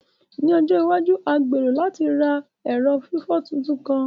Ni ọjọ iwaju, a gbero lati ra ẹrọ fifọ tuntun kan.